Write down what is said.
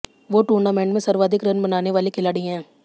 वो टूर्नामेंट में सर्वाधिक रन बनाने वाले खिलाड़ी हैं